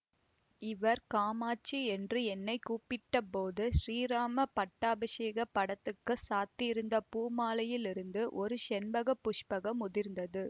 இவர் காமாட்சி என்று என்னை கூப்பிட்ட போது ஸ்ரீராம பட்டாபிஷேக படத்துக்குச் சாத்தியிருந்த பூமாலையிலிருந்து ஒரு செண்பக புஷ்பம் உதிர்ந்தது